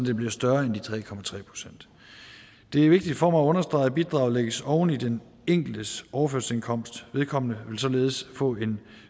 det bliver større end de tre procent det er vigtigt for mig at understrege at bidraget lægges oven i den enkeltes overførselsindkomst vedkommende vil således få en